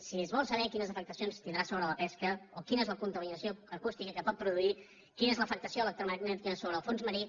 si es vol saber quines afectacions tindrà sobre la pesca o quina és la contaminació acústica que pot produir quina és l’afectació electromagnètica sobre el fons marí